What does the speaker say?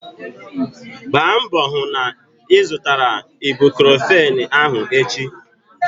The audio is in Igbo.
Gbaa mbọ hụ na ị zụtara ibucrofen ahụ echi!